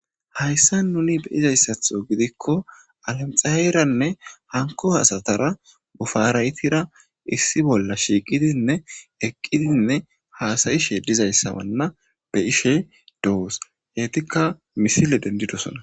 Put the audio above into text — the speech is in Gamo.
hayssa nuni be izayssatho gidikko alanxaeeranne hanko hasatara bufaraytira issi bolla shiiqidinne eqqidinne haasayishe dizayssawanna be ishe do7os heetikka misile dendidosona